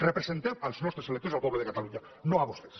representem els nostres electors i el poble de catalunya no a vostès